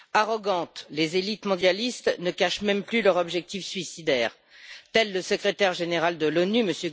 Arrogantes, les élites mondialistes ne cachent même plus leur objectif suicidaire, telles le Secrétaire général de l'ONU, M.